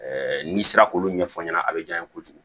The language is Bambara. n'i sera k'olu ɲɛfɔ ɲɛna a bɛ diya n ye kojugu